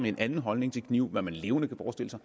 en anden holdning til knive hvad man levende kan forestille sig